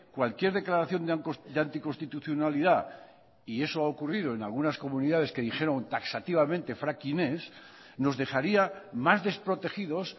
cualquier declaración de anticonstitucionalidad y eso ha ocurrido en algunas comunidades que dijeron taxativamente fracking ez nos dejaría más desprotegidos